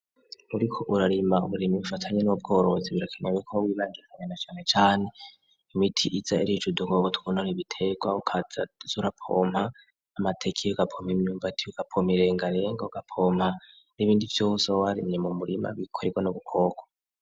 Muriko urarima uburimyi bufatanye n'ubworoozi birakanya bikomwa ibanjiranyana cane cane imiti iza irico udukogo twunora ibiterwakazazurapompa amatekiyo gapompa imyumbatiyo gapoma irenganire g gapompa n'ibindi vyose warimye mu murima bikorewa n' gukokwa.